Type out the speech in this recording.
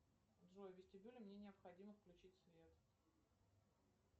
джой в вестибюле мне необходимо включить свет